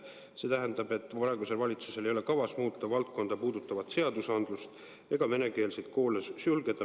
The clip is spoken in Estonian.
See tähendab, et praegusel valitsusel ei ole kavas muuta valdkonda puudutavat seadusandlust ega venekeelseid koole sulgeda.